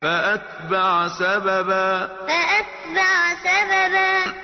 فَأَتْبَعَ سَبَبًا فَأَتْبَعَ سَبَبًا